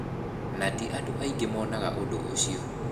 Na ti andũ aingĩ monaga ũndũ ũcio".